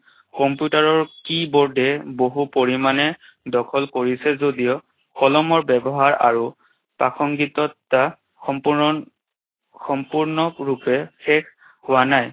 Computer ৰ keyboard এ বহু পৰিমাণে দখল কৰিছে যদিও কলমৰ ব্যৱহাৰ আৰু প্ৰাসংগিকতা সম্পূৰ্ণ~ সম্পূৰ্ণৰূপে শেষ হোৱা নাই।